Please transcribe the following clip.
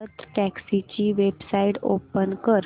भारतटॅक्सी ची website open कर